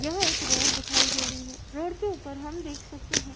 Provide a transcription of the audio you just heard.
यह एक रोड दिखाई दे रही है। रोड के ऊपर हम देख सकते हैं --